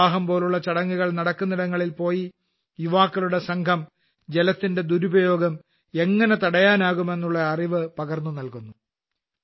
വിവാഹംപോലുള്ള ചടങ്ങുകൾ നടക്കുന്നിടങ്ങളിൽപോയി യുവാക്കളുടെ സംഘം ജലത്തിന്റെ ദുരുപയോഗം എങ്ങനെ തടയാനാകുമെന്നുള്ള അറിവ് പകർന്നുനല്കുന്നു